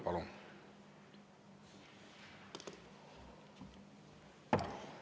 Palun!